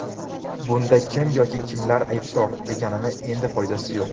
Bunda kim yoki kimlar aybdor deganning endi foydasi yo‘q.